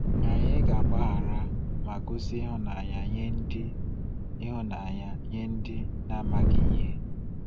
Anyị ga-agbaghara ma gosi ịhụnanya nye ndị ịhụnanya nye ndị na-amaghị ihe.